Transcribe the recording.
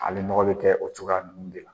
Hali nɔgo bɛ kɛ o cogoya ninnu de la.